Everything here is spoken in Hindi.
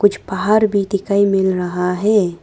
कुछ पहाड़ भी दिखाई मिल रहा है।